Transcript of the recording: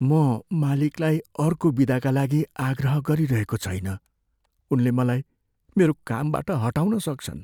म मालिकलाई अर्को बिदाका लागि आग्रह गरिरहेको छैन। उनले मलाई मेरो कामबाट हटाउन सक्छन्।